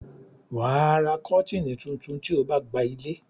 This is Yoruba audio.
wà á ra kọ́tìnnì tuntun tí o gba ilé.